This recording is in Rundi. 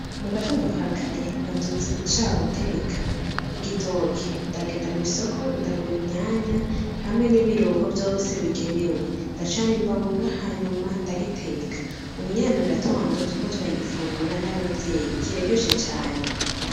Mugatondo ka kare navyutse nshaka guteka igitoke, ndagenda mw'isoko ndagura inyanya hamwe n'ibirungo vyose bigenewe. Ndacana imbabura hanyuma ndagiteka. Ubunyene mugatondo turiko turagifungura n'abavyeyi kiraryoshe cane.